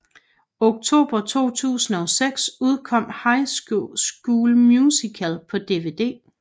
Oktober 2006 udkom High School Musical på DVD